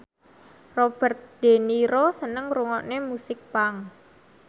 Robert de Niro seneng ngrungokne musik punk